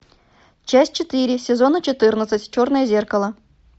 часть четыре сезона четырнадцать черное зеркало